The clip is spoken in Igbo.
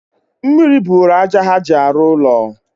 mmiri buuru aja ha ji arụ ụlọ..